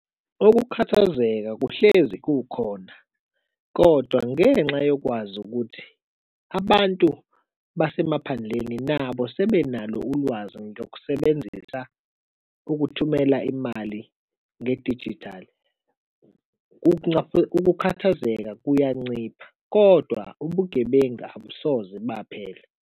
Ukukhathazeka kuhlezi kukhona, kodwa ngenxa yokwazi ukuthi abantu basemaphandleni nabo sibenalo ulwazi ngokusebenzisa ukuthumela imali ngedijithali, ukukhathazeka kuyancipha kodwa ubugebengu abusoze baphele.